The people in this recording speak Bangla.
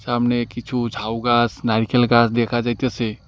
সামনে কিছু ঝাউগাস নারিকেল গাছ দেখা যাইতাসে।